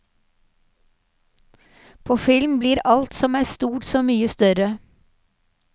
På film blir alt som er stort, så mye større.